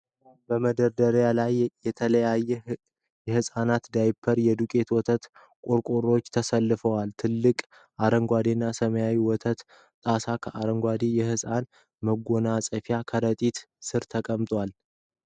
በመደርደሪያ ላይ የተለያዩ የህፃናት ዳይፐሮችና የዱቄት ወተት ቆርቆሮዎች ተሰልፈዋል። ትላልቅ፣ አረንጓዴና ሰማያዊ የወተት ጣሳዎች ከአረንጓዴ የህፃናት መጎናፀፊያ ከረጢት ስር ተቀምጠዋል።